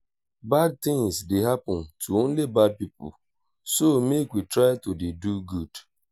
bad things dey happen to only bad people so make we try to dey do good